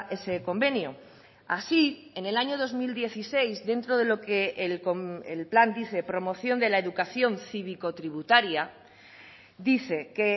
ese convenio así en el año dos mil dieciséis dentro de lo que el plan dice promoción de la educación cívico tributaria dice que